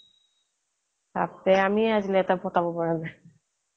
বাপৰে আমিহে আজিলে এটা পতাব পৰা নাই